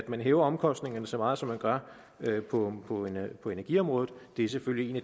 man hæver omkostningerne så meget som man gør på på energiområdet er selvfølgelig